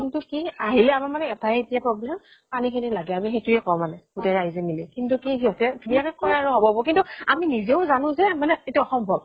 কিন্তু কি আহিলেও আমাৰ মানে এটাই ইতিয়া problem পানী খিনি লাগে, আমি সেইটোয়ে কওঁ মানে গোটেই ৰাইজে মিলি। কিন্তু কি সিহঁতে ধুনীয়াকে কয় আৰু হব হব। আমি নিজেও জানো যে এইটো অসম্ভব।